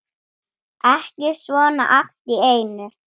Ekki svona allt í einu.